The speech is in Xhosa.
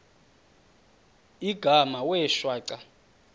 igama wee shwaca